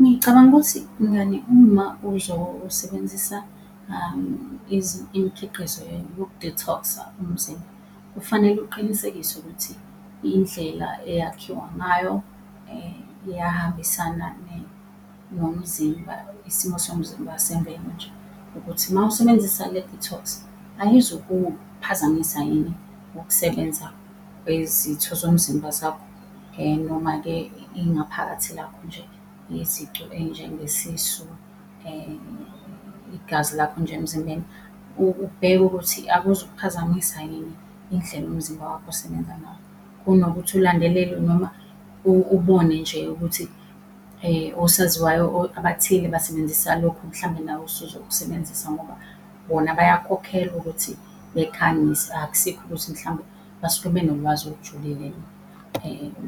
Ngicabanga ukuthi mngani uma uzosebenzisa imikhiqizo yoku-detox-a umzimba, kufanele uqinisekise ukuthi indlela eyakhiwa ngayo iyahambisana nomzimba, isimo somzimba ukuthi mawusebenzisa le-detox ayizukuphazamisa yini ukusebenza kwezitho zomzimba zakho noma-ke ingaphakathi lakho nje, izicu ey'njengesisu, igazi lakho nje emzimbeni. Ubheke ukuthi akuzukuphazamisa yini indlela umzimba wakho osebenza ngawo, kunokuthi ulandelele noma ubone nje ukuthi osaziwayo abathile basebenzisa lokhu mhlambe nawe usuzokusebenzisa ngoba bona bayakhokhelwa ukuthi bekhangise, akusikho ukuthi mhlawumbe basuke benolwazi olujulile